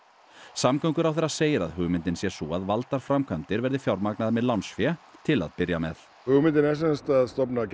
samgönguráðherra segir að hugmyndin sé sú að valdar framkvæmdir verði fjármagnaðar með lánsfé til að byrja með hugmyndin er að stofna